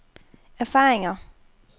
erfaringer